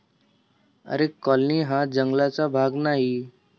आरे colony हा जंगलाचा भाग नाही.